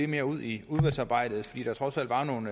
mere ud i udvalgsarbejdet fordi der trods alt er nogle